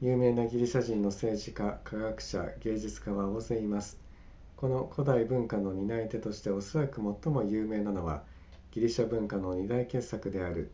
有名なギリシャ人の政治家科学者芸術家は大勢いますこの古代文化の担い手としておそらく最も有名なのはギリシャ文学の2大傑作である